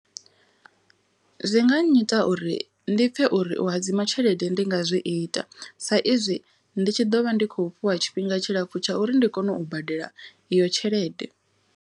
Zwi nga nnyita uri ndi pfhe uri u hadzima tshelede ndi nga zwi ita. Sa izwi ndi tshi ḓo vha ndi khou fhiwa tshifhinga tshilapfu tsha uri ndi kone u badela iyo tshelede.